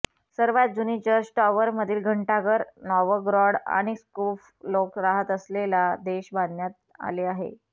सर्वात जुनी चर्चटॉवरमधील घंटाघर नॉवगरॉड आणि प्स्कोव लोक राहात असलेला देश बांधण्यात आले आहे